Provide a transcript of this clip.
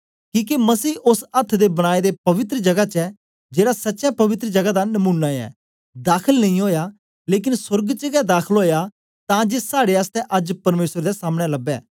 किके मसीह ओस अथ्थ दे बनाए दे पवित्र जगा च जेड़ा सच्चे पवित्र जगा दा नमूना ऐ दाखल नेई ओया लेकन सोर्ग च गै दाखल ओया तां जे साड़े आसतै अज्ज परमेसर दे सामनें लबै